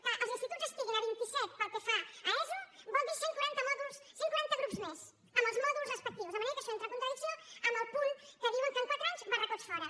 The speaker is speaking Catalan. que els instituts estiguin a vint i set pel que fa a eso vol dir cent quaranta mòduls cent quaranta grups més amb els mòduls respectius de manera que això entra en contradicció amb el punt que diuen que en quatre anys barracots fora